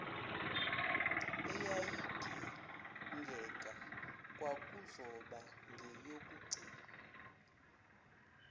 eyayidingeka kwakuzoba ngeyokugcina